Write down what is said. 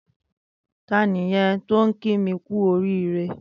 Tàní yèn tó n ki mi kù óriré?